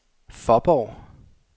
Faaborg